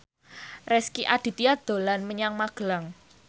Rezky Aditya dolan menyang Magelang